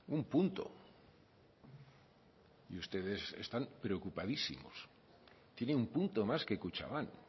un punto y ustedes están preocupadísimos tiene un punto más que kutxabank